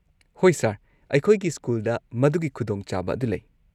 ꯍꯣꯏ, ꯁꯔ, ꯑꯩꯈꯣꯏꯒꯤ ꯁ꯭ꯀꯨꯜꯗ ꯃꯗꯨꯒꯤ ꯈꯨꯗꯣꯡꯆꯥꯕ ꯑꯗꯨ ꯂꯩ꯫